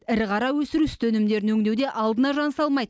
ірі қара өсіру сүт өнімдерін өңдеуде алдына жан салмайды